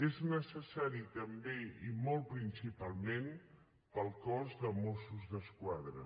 és necessari també i molt principalment per al cos de mossos d’esquadra